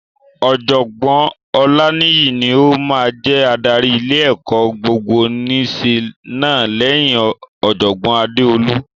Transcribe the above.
Ọ̀jọ̀gbọ́n Olaniyi ni ó máa jẹ adarí ilé-ẹ̀kọ́ gbogbonìṣe náà lẹ́yìn Ọ̀jọ̀gbọ́n Adeolu.